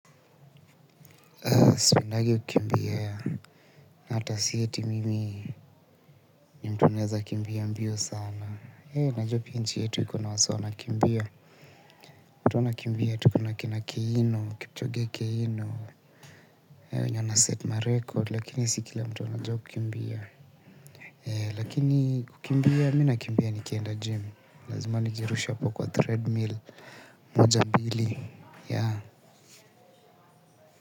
Sipendangi kukimbia na hata si eti mimi ni mtu naweza kimbia mbio sana najuwa pia nchi yetu iko na wasee wanakimbia watu wanakimbia tu kuna kina keino, kipchoge keino. Hao wenye wanaset ma record lakini si kila mtu anajuwa kukimbia lakini kukimbia mi nakimbia nikienda gym, lazima nijirushe apo kwa threadmill moja mbili.